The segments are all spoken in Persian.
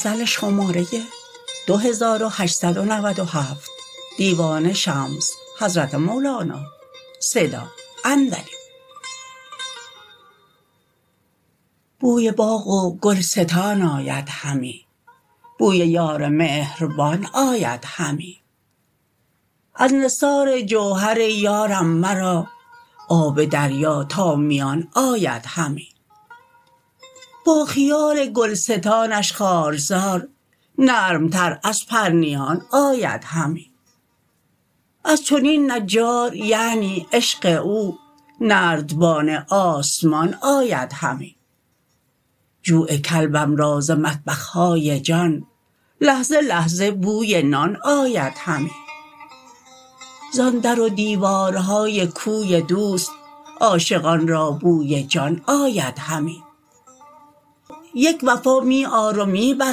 بوی باغ و گلستان آید همی بوی یار مهربان آید همی از نثار جوهر یارم مرا آب دریا تا میان آید همی با خیال گلستانش خارزار نرمتر از پرنیان آید همی از چنین نجار یعنی عشق او نردبان آسمان آید همی جوع کلبم را ز مطبخ های جان لحظه لحظه بوی نان آید همی زان در و دیوارهای کوی دوست عاشقان را بوی جان آید همی یک وفا می آر و می بر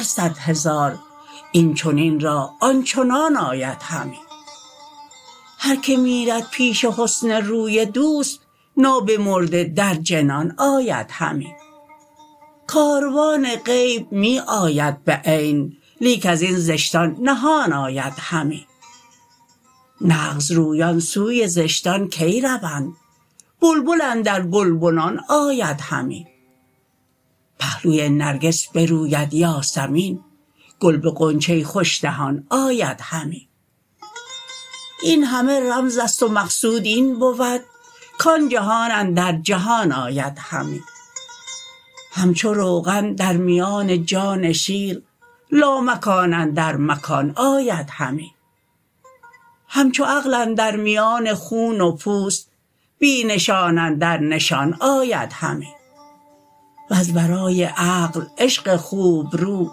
صد هزار این چنین را آن چنان آید همی هر که میرد پیش حسن روی دوست نابمرده در جنان آید همی کاروان غیب می آید به عین لیک از این زشتان نهان آید همی نغزرویان سوی زشتان کی روند بلبل اندر گلبنان آید همی پهلوی نرگس بروید یاسمین گل به غنچه خوش دهان آید همی این همه رمز است و مقصود این بود کان جهان اندر جهان آید همی همچو روغن در میان جان شیر لامکان اندر مکان آید همی همچو عقل اندر میان خون و پوست بی نشان اندر نشان آید همی وز ورای عقل عشق خوبرو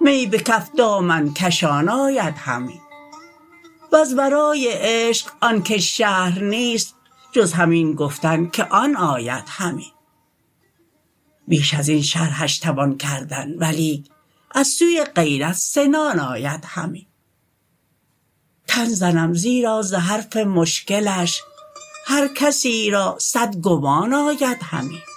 می به کف دامن کشان آید همی وز ورای عشق آن کش شرح نیست جز همین گفتن که آن آید همی بیش از این شرحش توان کردن ولیک از سوی غیرت سنان آید همی تن زنم زیرا ز حرف مشکلش هر کسی را صد گمان آید همی